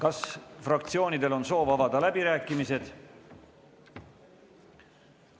Kas fraktsioonidel on soov avada läbirääkimised?